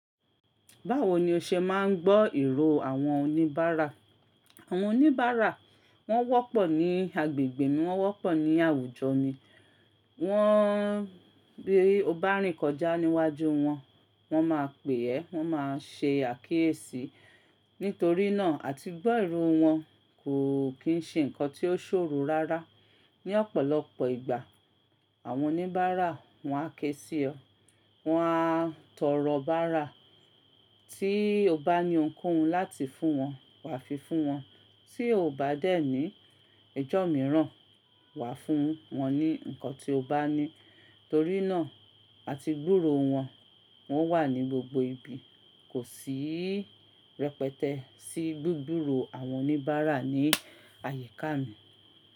Báwo ni o ṣe máa ń gbọ́ irò àwọn oníbàárà? Àwọn oníbàárà wọ́n wọ́pọ̀ ní agbègbè mi, wọ́n wọ́pọ̀ ní àwùjọ mi. Wọ́n bí o nma rìn kọjá níwájú wọn, wọn máa pè é, wọn máa ṣe àkíyèsí. Nítorí náà àti gbọ́ irò wọn kò kì í ṣe nǹkan tí ó ṣòro rárá. Ni ọ̀pọ̀lọpọ̀ ìgbà àwọn oníbàárà wọn á ké sí ọ, wọn á tọrọ bárà tí o bá ní ohunkohun láti fún wọn wà fi fún wọn. Tí o ò bá dẹ́ ní ijọ́ mìíràn, wà fún wọn ní ǹkan tí o bá ní. Torí náà àti gbúro wọn, wọ́n wà ní gbogbo ibi. Kò sí rẹpẹtẹ sí gbúgburò àwọn oníbàárà ní àyíká mi.